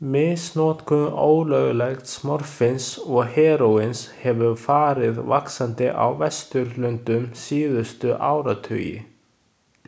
Misnotkun ólöglegs morfíns og heróíns hefur farið vaxandi á Vesturlöndum síðustu áratugi.